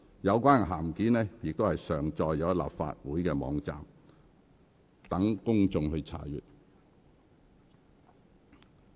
有關的函件已上載立法會網站，供公眾查閱。